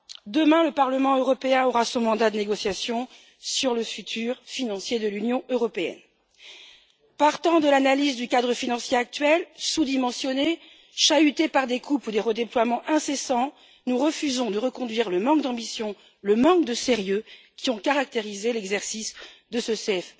Demain le Parlement européen aura son mandat de négociation sur l'avenir financier de l'Union européenne. Partant de l'analyse du cadre financier actuel sous dimensionné, chahuté par des coupes ou des redéploiements incessants, nous refusons de reconduire le manque d'ambition et le manque de sérieux qui ont caractérisé l'exercice de ce CFP.